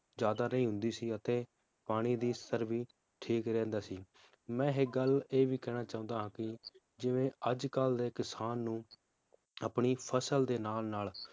ਜ਼ਿਆਦਾ ਨਹੀਂ ਹੁੰਦੀ ਸੀ ਅਤੇ ਪਾਨੀ ਦਾ ਸਤਰ ਵੀ ਠੀਕ ਹੀ ਰਹਿੰਦਾ ਸੀ ਮੈ ਇੱਕ ਗੱਲ ਇਹ ਵੀ ਕਹਿਣਾ ਚਾਉਂਦਾ ਹਾਂ ਕਿ ਜਿਵੇ ਅੱਜ ਕੱਲ ਦੇ ਕਿਸਾਨ ਨੂੰ ਆਪਣੀ ਫਸਲ ਦੇ ਨਾਲ ਨਾਲ